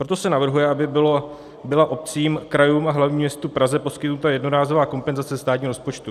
Proto se navrhuje, aby byla obcím, krajům a hlavnímu městu Praze poskytnuta jednorázová kompenzace státního rozpočtu.